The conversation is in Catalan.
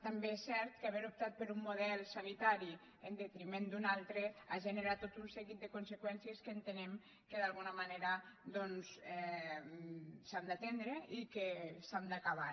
també és cert que haver optat per un model sanitari en detriment d’un altre ha generat tot un seguit de conseqüències que entenem que d’alguna manera s’han d’atendre i que s’han d’acabar